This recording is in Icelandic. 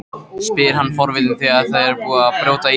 spyr hann forvitinn þegar búið er að brjóta ísinn.